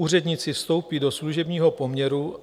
Úředníci vstoupí do služebního poměru.